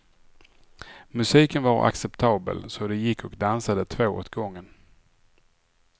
Musiken var acceptabel, så de gick och dansade två åt gången.